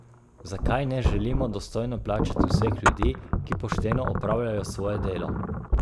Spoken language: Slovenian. Zakaj ne želimo dostojno plačati vseh ljudi, ki pošteno opravljajo svoje delo.